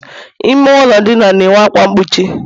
ime ụlọ ndina na-enwe ákwá mgbochi